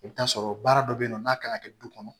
I bɛ t'a sɔrɔ baara dɔ bɛ yen nɔ n'a kan ka kɛ du kɔnɔ